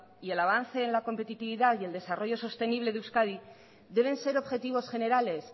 y el avance en la competitividad y el desarrollo sostenible de euskadi deben ser objetivos generales